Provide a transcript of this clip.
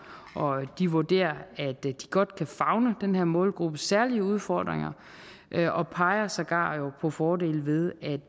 og de vurderer at de godt kan favne den her målgruppes særlige udfordringer og peger sågar på fordelen ved at